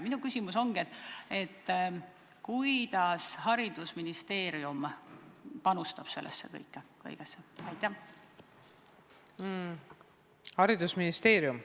Minu küsimus ongi: kuidas haridusministeerium sellesse kõigesse panustab?